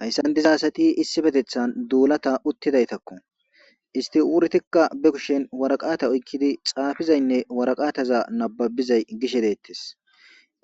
Haysan diza asati issippethetan dulata utidaytako. Isti uretika be kushen waraqata oyikidi xafizaynne waraqteza nababizayi gishe deetes.